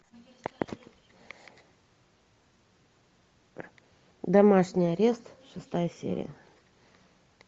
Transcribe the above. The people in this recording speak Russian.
домашний арест шестая серия